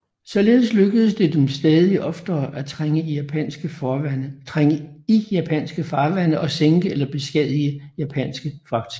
Således lykkedes det dem stadig oftere at trænge i japanske farvande og sænke eller beskadige japanske fragtskibe